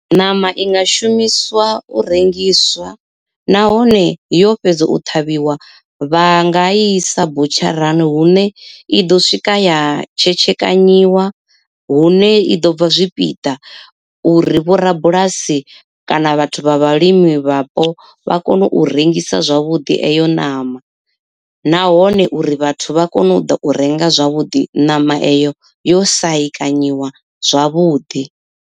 Ṋama i nga shumiswa u rengiswa nahone yo fhedza u ṱhavhiwa vha nga i sa butsharani hune i ḓo swika ya tshetshekanyiwa, hune i ḓo bva zwipiḓa uri vho rabulasi kana vhathu vha vhalimi vhapo vha kone u rengisa zwavhuḓi eyo ṋama. Nahone uri vhathu vha kone u ḓa u renga zwavhuḓi ṋama eyo yo sahekanyiwa zwavhuḓi.